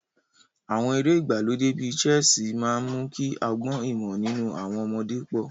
Àwọn eré ìgbàlódé bíi ṣẹ́ẹ̀sì máa ń mú kí ọgbọ́n ìmọ̀ nínú àwọn ọmọdé pọ̀.